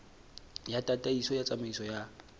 ya tataiso ya tsamaiso ya